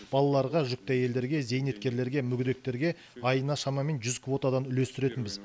балаларға жүкті әйелдерге зейнеткерлерге мүгедектерге айына шамамен жүз квотадан үлестіретінбіз